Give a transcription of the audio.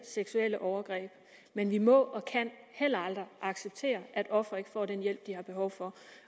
seksuelle overgreb men vi må og kan heller aldrig acceptere at ofre ikke får den hjælp de har behov for